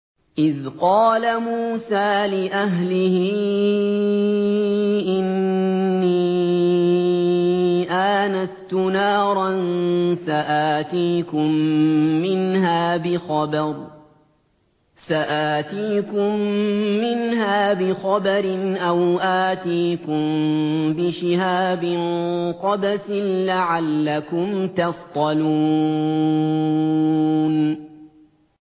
إِذْ قَالَ مُوسَىٰ لِأَهْلِهِ إِنِّي آنَسْتُ نَارًا سَآتِيكُم مِّنْهَا بِخَبَرٍ أَوْ آتِيكُم بِشِهَابٍ قَبَسٍ لَّعَلَّكُمْ تَصْطَلُونَ